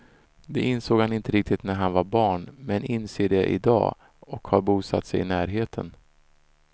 Det insåg han inte riktigt när han var barn, men inser det i dag och har bosatt sig i närheten.